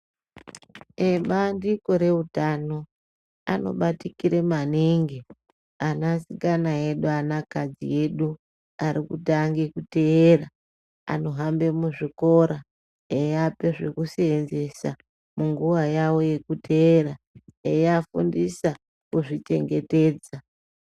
Ebandiko reutano anobatikire maningi anasikana edu, anakadzi edu arikutange kuteera. Anohambe muzvikora eiape zvekuseenzesa munguva yavo yekuteera eiafundisa kuzvichengetedza.